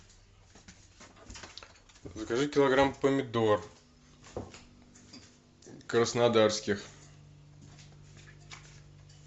закажи килограмм помидор краснодарских